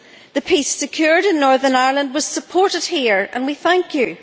The peace secured in Northern Ireland was supported here, and we thank you.